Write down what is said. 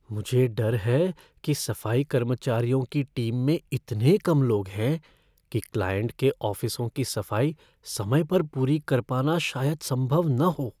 मुझे डर है कि सफ़ाई कर्मचारियों की टीम में इतने कम लोग हैं कि क्लाइंट के ऑफ़िसों की सफ़ाई समय पर पूरी कर पाना शायद संभव न हो।